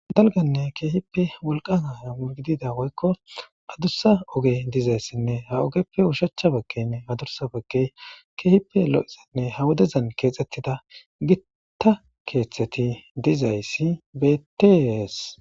Dalganne keehippe wolqan hay mu gidida woykko adursa oge dizayssinne ha ogeppe ushachcha bekkenne hadursa bekke keehippe lo7exinne ha wodezan keexxettida gitta keeththeti dizayssi betees.